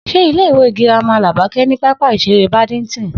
S̩e ilé ìwé girama Làbáké̩ ní pápá ìs̩eré Badminton?